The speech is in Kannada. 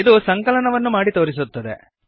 ಇದು ಸಂಕಲನವನ್ನು ಮಾಡಿ ತೋರಿಸುತ್ತದೆ